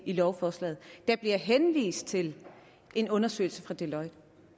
i lovforslaget der bliver henvist til en undersøgelse fra deloitte